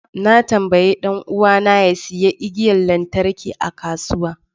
Na tambayi dan uwana ya sayi igiyar lantarki a kasuwa